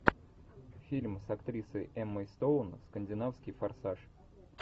фильм с актрисой эммой стоун скандинавский форсаж